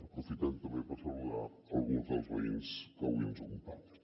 aprofitem també per saludar alguns dels veïns que avui ens acompanyen